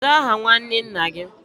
Kedu aha nnwanne nna gi?